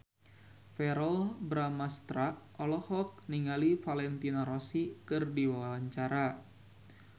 Verrell Bramastra olohok ningali Valentino Rossi keur diwawancara